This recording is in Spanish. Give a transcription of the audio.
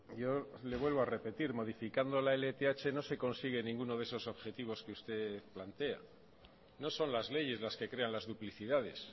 yo le vuelvo a repetir modificando la lth no se consigue ninguno de esos objetivos que usted plantea no son las leyes las que crean las duplicidades